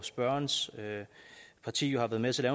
spørgerens parti jo har været med til at